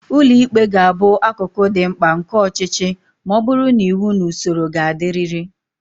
Ụlọ ikpe ga-abụ akụkụ dị mkpa nke ọchịchị ma ọ bụrụ na iwu na usoro ga-adịrịrị.